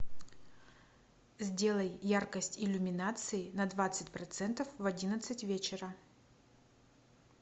сделай яркость иллюминации на двадцать процентов в одиннадцать вечера